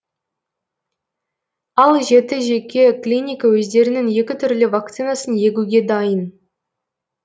ал жеті жеке клиника өздерінің екі түрлі вакцинасын егуге дайын